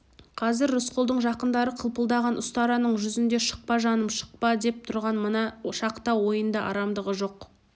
қазір рысқұлдың жақындары қылпылдаған ұстараның жүзінде шықпа жаным шықпа деп тұрған мына шақта ойында арамдығы жоқ